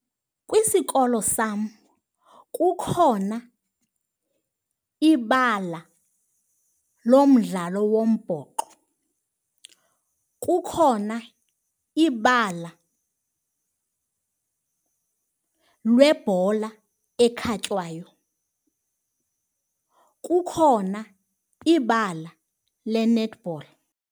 Kwisikolo sam kukhona ibala lomdlalo wombhoxo, kukhona ibala lebhola ekhatywayo, kukhona ibala le-netball.